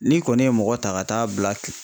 N'i kɔni ye mɔgɔ ta ka taa bila